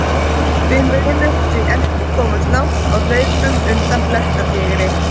Við mundum því ekki komast langt á hlaupum undan blettatígri!